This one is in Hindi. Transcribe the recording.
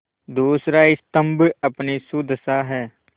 दूसरा स्तम्भ अपनी सुदशा है